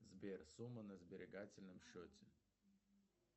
сбер сумма на сберегательном счете